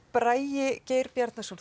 Bragi Geir Bjarnason